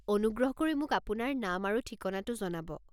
অনুগ্ৰহ কৰি মোক আপোনাৰ নাম আৰু ঠিকনাটো জনাব।